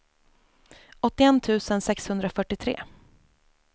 åttioett tusen sexhundrafyrtiotre